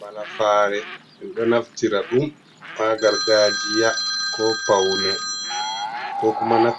"Malafare" min ɗo naftira ɗum ha gargajiya, ko paune, ko kuma min